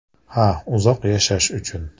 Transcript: Ha, uzoq yashash uchun!